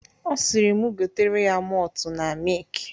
Ọ sịrị m gotere ya motu na mik.